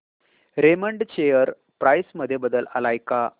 Raymond share price मध्ये बदल आलाय का